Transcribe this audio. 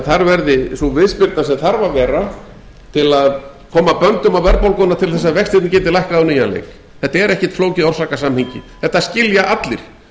þar verði sú viðspyrna sem þarf að vera til að koma böndum á verðbólguna til þess að vextirnir geti lækkað á nýjan leik þetta er ekki flókið orsakasamhengi þetta skilja allir